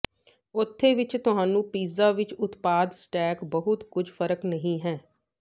ਉੱਥੇ ਵਿਚ ਤੁਹਾਨੂੰ ਪੀਜ਼ਾ ਵਿਚ ਉਤਪਾਦ ਸਟੈਕ ਬਹੁਤ ਕੁਝ ਫਰਕ ਨਹੀ ਹੈ